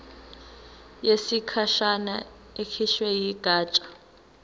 yesikhashana ekhishwe yigatsha